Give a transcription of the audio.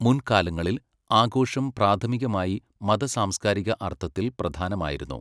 മുൻകാലങ്ങളിൽ, ആഘോഷം പ്രാഥമികമായി മത സാംസ്കാരിക അർത്ഥത്തിൽ പ്രധാനമായിരുന്നു.